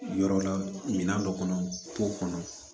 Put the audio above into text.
Yɔrɔ la minan dɔ kɔnɔ po kɔnɔ